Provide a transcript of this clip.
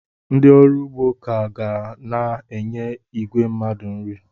Ndị ọrụ ugbo ka ga na-enye igwe mmadụ nri.